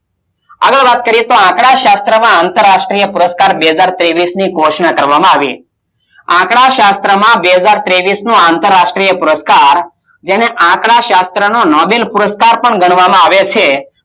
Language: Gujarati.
આગળ વાત કરીયે તો આપણા શાસ્ત્ર માં આંતર રાષ્ટિય પુરષ્કાર બે હજાર તેવીસ થી ઘોષણા કરવામાં આવી આ શાસ્ત્રમાં બે હજાર તેવીસની આંતરરાષ્ટિય પુરુષકાર જેમાં આપણા સત્રની નાવીલ પુરુષકાર કરવામાં આવે છે